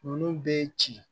Olu bɛ ci